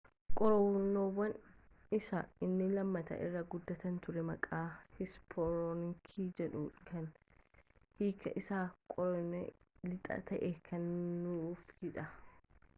qoronyoon isaa inni lammataa irra guddaa ture maqaa heesperooniikas jedhu kan hiiki isaa qoronyoo lixaa ta'e kennuufiidhaan